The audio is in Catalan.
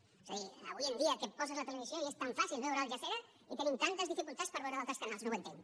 és a dir avui en dia que poses la televisió i és tan fàcil veure al jazira i tenim tantes dificultats per veure d’altres canals no ho entenc